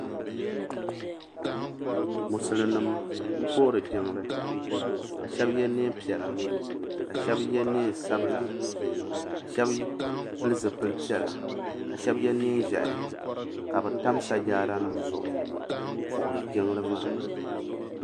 Musulin nima m puhiri jiŋli ka Sheba ye niɛn piɛla ka shɛba ye niɛn sabila ka Sheba pili zipil piɛla ka Sheba ye niɛn ʒehi ka bɛ tam sajaada nima zuɣu m puhiri jiŋli maa.